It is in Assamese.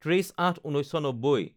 ৩০/০৮/১৯৯০